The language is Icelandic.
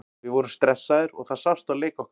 Við vorum stressaðir og það sást á leik okkar.